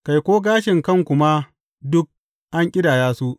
Kai, ko gashin kanku ma duk an ƙidaya su.